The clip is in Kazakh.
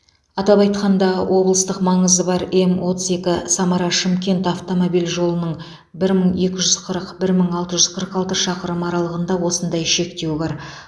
атап айтқанда облыстық маңызы бар ем отыз екі самара шымкент автомобиль жолының бір мың екі жүз қырық бір мың алты жүз қырық алты шақырымы аралығында осындай шектеу бар